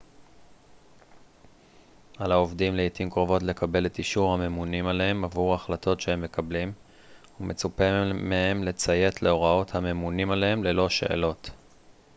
על העובדים לעתים קרובות לקבל את אישור הממונים עליהם עבור החלטות שהם מקבלים ומצופה מהם לציית להוראות הממונים עליהם ללא שאלות